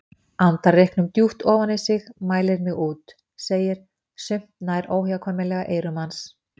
Andar reyknum djúpt ofan í sig, mælir mig út, segir: Sumt nær óhjákvæmilega eyrum manns.